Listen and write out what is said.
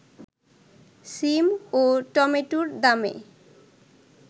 সিম ও টমেটোর দামে